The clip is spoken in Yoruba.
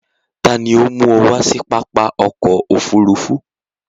Tàní o mú ọ wá si pápá ọkọ̀ òfurufú?